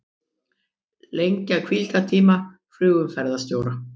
Lengja hvíldartíma flugumferðarstjóra